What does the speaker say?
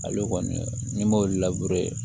Ale kɔni ni m'olu